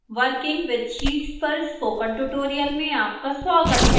working with sheets पर spoken tutorial में आपका स्वागत है